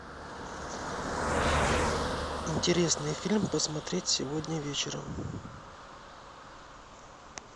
интересный фильм посмотреть сегодня вечером